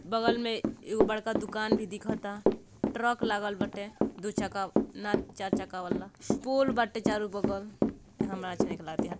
बगल में एगो बड़का दुकान भी दिखा ता ट्रक लगल बाटे दू चक्का ना चार चक्का वाला श पोल बाटे चारो बगल अम्हरा --